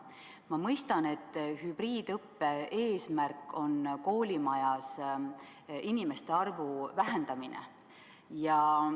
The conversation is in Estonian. Ma mõistan, et hübriidõppe eesmärk on koolimajas inimeste arvu vähendamine.